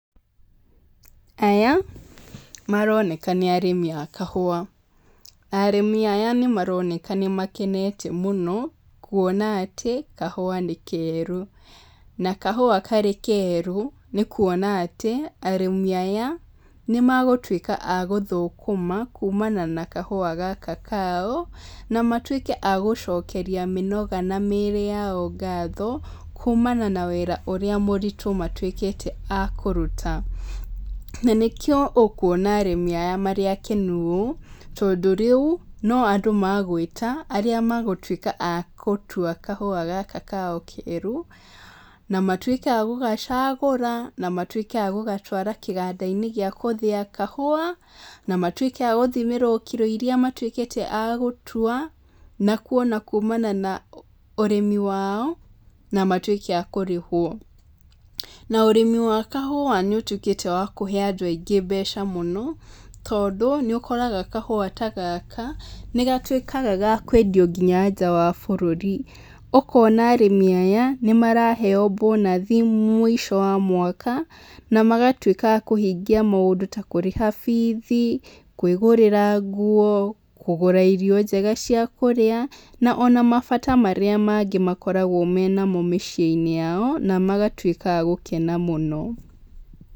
Aya maroneka nĩ arĩmi a kahũa, na arĩmi aya nĩ maroneka ni makenete mũno nĩ kuona atĩ kahũa karĩ keru. Na kahũa karĩ keru nĩ kuonania atĩ arĩmi aya nĩ megũtuĩka a gũthũkũma kuumana na kahũa gaka kao, na matuĩke a gũcokeria mĩnoga na mĩĩrĩ yao ngatho, kuumana na wĩra ũrĩa mũritũ matuĩkĩte a kũruta. Na nĩkĩo ũkuona arĩmi aya marĩ akenu ũũ tondũ rĩu no andũ magwĩta arĩa magũtuĩka a gũtua kahũa gaka kao keru, na matuĩke a gũgacagũra, na matuĩke a gũgatwara kĩganda-inĩ gĩa gũthĩa kahũa, ma matuĩke a gũthimĩrwo kiro irĩa matuĩkĩte a gũtua na kuona na kumana na ũrĩmi wao, na matuĩke a kũrĩhwo. Na ũrĩmi wa kahũa nĩ ũtuĩkĩte wa kũhe andũ mbeca mũno tondũ nĩ ũkoraga kahũa ta gaka nĩ gatuĩkaga gakwendio nginya nja wa bũrũri. Ũkona arĩmi aya nĩ maraheo bonus mũico-inĩ wa mwaka na magatuĩka kũhingia maũndũ ta kũrĩha fees, kwĩgũrĩra nguo, kũgũra irio njega cia kũrĩa na ona mabata marĩa mangĩ makoragwo mena mo mĩciĩ-inĩ yao, na magatuĩka a gũkena mũno.